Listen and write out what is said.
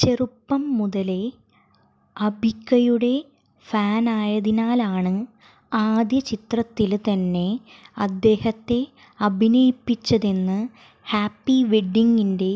ചെറുപ്പം മുതലേ അബിക്കയുടെ ഫാനായതിനാലാണ് ആദ്യ ചിത്രത്തില് തന്നെ അദ്ദേഹത്തെ അഭിനയിപ്പിച്ചതെന്ന് ഹാപ്പി വെഡിങിന്റെ